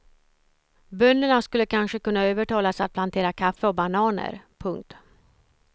Bönderna skulle kanske kunna övertalas att plantera kaffe och bananer. punkt